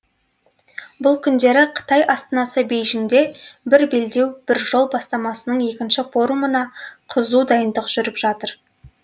бұл күндері қытай астанасы бейжіңде бір белдеу бір жол бастамасының екінші форумына қызу дайындық жүріп жатыр